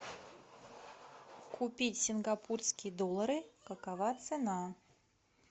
купить сингапурские доллары какова цена